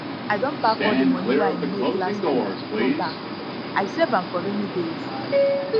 i don pack all the money wey i make last week go bank i save am for rainy days